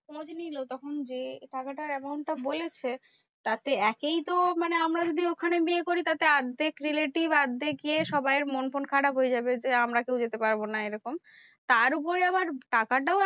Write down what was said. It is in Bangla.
খোঁজ নিলো তখন যে টাকাটা amount টা বলেছে, তাতে একেই তো মানে আমার বিয়ে ওখান বিয়ে করি তাতে অর্ধেক relative অর্ধেক ইয়ে সবাইকে মন ফন খারাপ হয়ে যাবে। যে আমরা কেউ যেতে পারবো না এরকম। তার উপরে আবার টাকাটাও